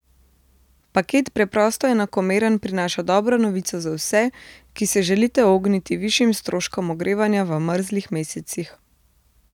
Paket Preprosto enakomeren prinaša dobro novico za vse, ki se želite ogniti višjim stroškom ogrevanja v mrzlih mesecih.